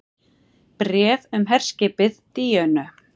BRÉF UM HERSKIPIÐ DÍÖNU